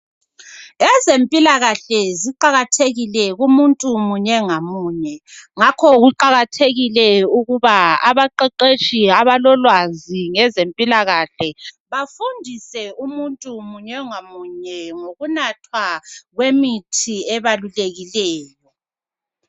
Ezempilakahle ziqakathekile kumuntu munye ngamunye, ngakho kuqakathekile ukuba abaqeqetshi abalolwazi ngezempilakahle bafundise umuntu munye ngamunye ngokunathwa kwemithi ebalulekileyo.